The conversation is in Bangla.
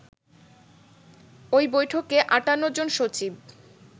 ওই বৈঠকে ৫৮ জন সচিব